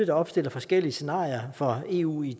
opstiller forskellige scenarier for eu i